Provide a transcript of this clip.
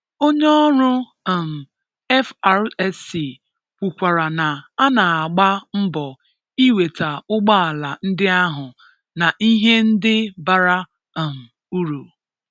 Onye ọrụ um FRSC kwukwara na a na-agba mbọ ị nweta ụgbọala ndị ahụ na ihe ndị bara um uru.